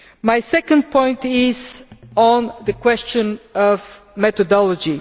My second point is on the question of methodology.